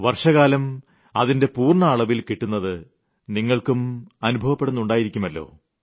വർഷകാലം അതിന്റെ പൂർണ്ണ അളവിൽ കിട്ടുന്നത് നിങ്ങൾക്കും അുഭവപ്പെടുന്നുണ്ടായിരിക്കുമല്ലോ